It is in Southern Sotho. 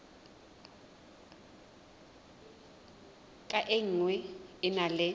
ka nngwe e na le